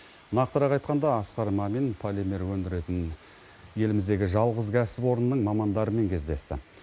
нақтырақ айтқанда асқар мамин полимер өндіретін еліміздегі жалғыз кәсіпорынның мамандарымен кездесті